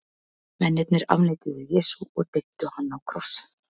Mennirnir afneituðu Jesú og deyddu hann á krossi.